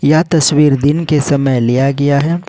यह तस्वीर दिन के समय लिया गया है।